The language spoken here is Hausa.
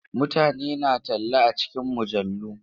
Mutane suna talla a cikin mujallu.